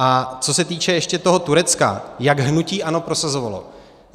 A co se týče ještě toho Turecka, jak hnutí ANO prosazovalo.